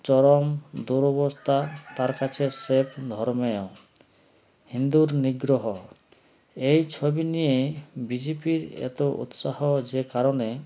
চরম দূর্বরতা তার কাছে safe ধর্মেও হিন্দুর নিগ্ৰহ এই ছবি নিয়ে bjp -র এত উৎসাহ যে কারণে